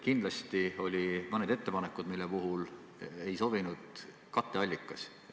Kindlasti olid mõned ettepanekud, mille puhul ei sobinud katteallikas.